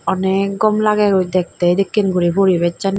onek gom lagaygoi dektey edekken guri poribessani.